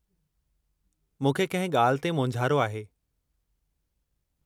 मूंखे किंहिं ॻाल्हि ते मोंझारो आहे।